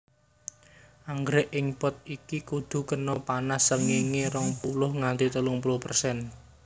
Anggrèk ing pot iki kudu kena panas srengéngé rong puluh nganti telung puluh persen